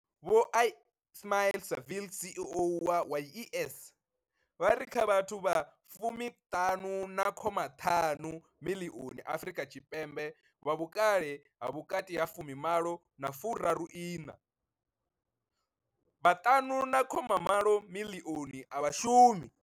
Vho Ismail-Saville CEO wa YES, vha ri kha vhathu vha fumi ṱanu khoma ṱanu miḽioni Afrika Tshipembe vha vhukale ha vhukati ha fumi malo na furaru iṋa, vha fumi ṱanu khoma mbili miḽioni a vha shumi.